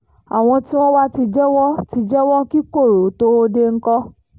àwọn tí wọ́n wàá ti jẹ́wọ́ ti jẹ́wọ́ kí koro tóo dé ńkọ́